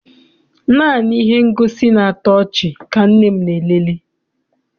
Naanị ihe ngosi na-atọ ọchị ka nne m na elele.